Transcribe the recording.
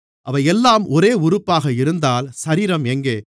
அவையெல்லாம் ஒரே உறுப்பாக இருந்தால் சரீரம் எங்கே